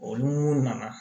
Olu nana